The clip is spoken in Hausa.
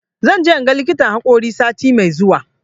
Zan je in ga likitan haƙori sati mai zuwa.